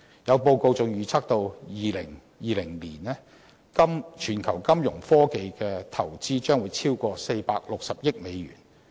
有報告還預測到2020年，全球金融科技投資將超過460億美元。